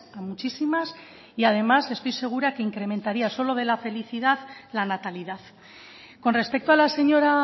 a muchísimas y además estoy segura que incrementaría solo de la felicidad la natalidad con respecto a la señora